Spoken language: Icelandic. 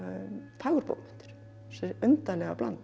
fagurbókmenntir þessi undarlega blanda